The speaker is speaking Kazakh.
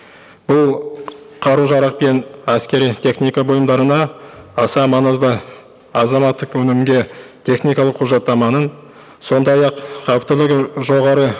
бұл қару жарақ пен әскери техника бұйымдарына аса маңызды азаматтық өнімге техникалық құжаттаманың сондай ақ жоғары